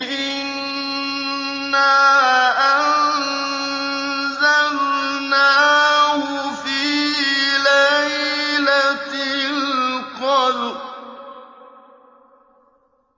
إِنَّا أَنزَلْنَاهُ فِي لَيْلَةِ الْقَدْرِ